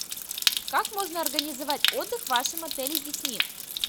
как можно организовать отдых в вашем отеле с детьми